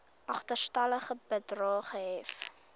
agterstallige bedrae gehef